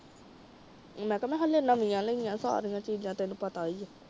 ਮੈ ਕਿਹਾ ਮੈਂ ਨਵੀਆਂ ਲਾਈਆਂ ਸਾਰੀਆਂ ਚੀਜਾਂ ਤੈਨੂੰ ਪਤਾ ਹੀ ਆ